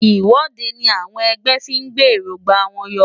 Ìwọ́de ni àwọn ẹgbẹ́ fí ń gbé èróńgbà wọn yọ.